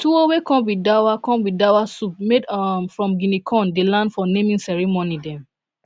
tuwo wey come with dawa come with dawa soup made um from guinea corn dey land for naming ceremony dem